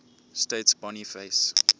states boniface